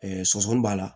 sɔsɔɔni b'a la